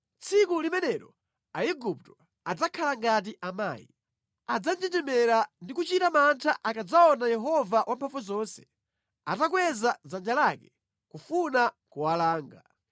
Tsiku limenelo Aigupto adzakhala ngati amayi. Adzanjenjemera ndi kuchita mantha akadzaona Yehova Wamphamvuzonse, atakweza dzanja lake kufuna kuwalanga.